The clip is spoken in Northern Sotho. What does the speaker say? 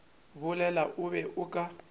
bolela o be o ka